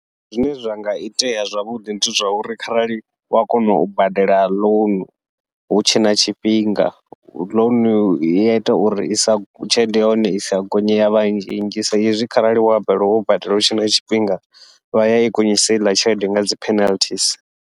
Zwine zwa nga itea zwavhuḓi ndi zwa uri, kharali wa kona u badela ḽounu hutshe na tshifhinga ḽounu iita uri isa tshelede ya hone isa gonye ya savha nzhi nnzhi, sa izwi kharali wa balelwa wo badela hutshe na tshifhinga vha yai gonyisa heiḽa tshelede nga dzi penalty's.